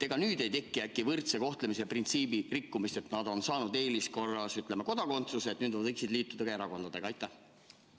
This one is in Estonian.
Ega nüüd ei teki äkki võrdse kohtlemise printsiibi rikkumist, et nad on saanud eeliskorras kodakondsuse ja nüüd nad võiksid ka erakondadega liituda?